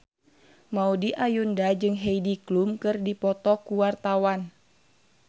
Maudy Ayunda jeung Heidi Klum keur dipoto ku wartawan